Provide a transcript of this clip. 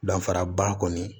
Danfaraba kɔni